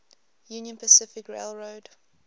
union pacific railroad